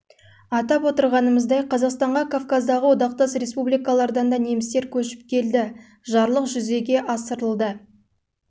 атап отырғанымыздай қазақстанға кавказдағы одақтас республикалардан да немістер көшіп келді жарлық жүзеге асырылды ол бойынша жылы